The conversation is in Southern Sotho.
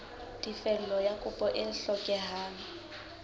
tefello ya kopo e hlokehang